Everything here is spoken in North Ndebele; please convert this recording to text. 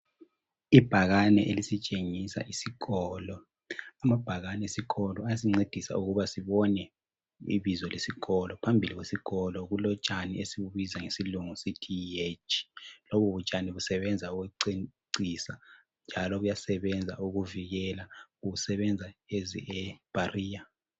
Ibhakane elisitshengisa isikolo. Amabhakane esikolo ayasincedisa ukuba sibone ibizo lesikolo. Phambili kwesikolo kulotshani esibubiza ngesilungu sithi yi hedge. Lobutshani busebenza ukucecisa njalo buyasebenza ukuvikela busebenza as a barrier.